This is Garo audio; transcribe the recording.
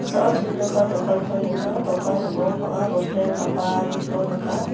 chongipa dokanko nika dokan ning·o banga bosturang gapaniko nika.